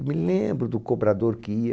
Eu me lembro do cobrador que ia.